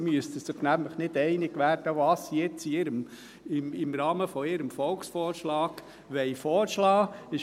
Sie müssten sich nämlich nicht einig werden, was sie im Rahmen ihres Volksvorschlags vorschlagen wollen.